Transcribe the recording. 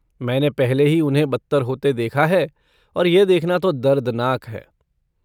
मैंने पहले ही उन्हें बदतर होते देखा है और यह देखना तो दर्दनाक है।